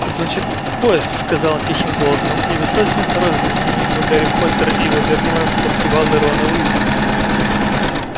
значит поезд сказал он тихим голосом недостаточно хорош для знаменитого гарри поттера и его верного подпевалы рона уизли